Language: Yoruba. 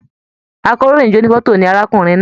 Àkòróyinjọ́ ònífọ̀tò ní arákùnrin náà.